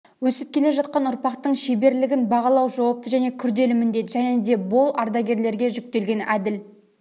өсіп келе жатқан ұрпақтың шеберлігін бағалау жауапты және күрделі міндет және де бол ардагерлерге жүктелген әділ